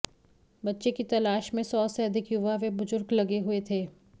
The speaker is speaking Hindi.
बच्चे की तलाश में सौ से अधिक युवा व बुजुर्ग लगे हुए थे